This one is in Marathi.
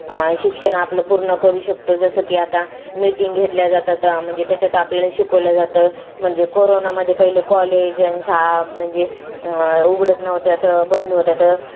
शिक्षण आपलं पूर्ण करू शकतो जसं की आता meeting घेतल्या जातात म्हणजे त्याच्यात आपल्याला शिकवलं जातं म्हणजे कोरोना मध्ये पहिले college अन शाळा म्हणजे उघडत न्हवते आता बंद होते